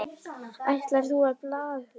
Ætlar þú á ballið?